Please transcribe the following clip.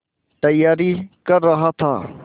तैयारी कर रहा था